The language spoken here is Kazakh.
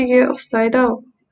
үйге ұқсайды ау